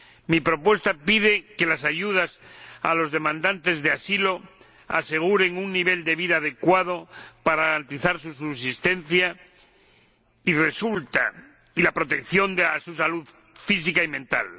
Mi propuesta pide que las ayudas a los demandantes de asilo aseguren un nivel de vida adecuado para garantizar su subsistencia y la protección de su salud física y mental.